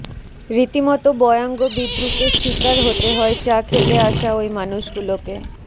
রীতিমতো ব্য়াঙ্গবিদ্রুপের শিকার হতে হয় চা খেতে আসা ওই মানুষগুলোকে